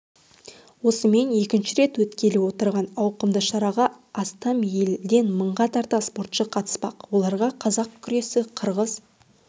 осымен екінші рет өткелі отырған ауқымды шараға астам елденмыңға тарта спортшы қатыспақ олар қазақ күресі қырғыз